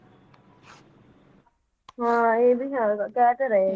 ਹਾਂ ਇਹ ਵੀ ਹੈਗਾ ਕਹਿ ਤਾਂ ਰਹੇ,